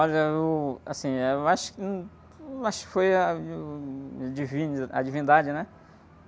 Olha, eu.... Assim, eh, eu acho que, acho que foi a, uh, o divino, a divindade, né?